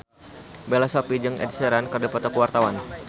Bella Shofie jeung Ed Sheeran keur dipoto ku wartawan